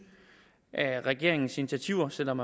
at regeringens initiativer selv om